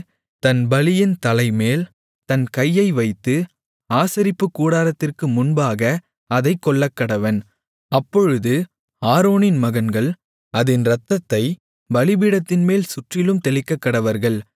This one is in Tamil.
தன் பலியின் தலைமேல் தன் கையை வைத்து ஆசரிப்புக்கூடாரத்திற்கு முன்பாக அதைக் கொல்லக்கடவன் அப்பொழுது ஆரோனின் மகன்கள் அதின் இரத்தத்தைப் பலிபீடத்தின்மேல் சுற்றிலும் தெளிக்கக்கடவர்கள்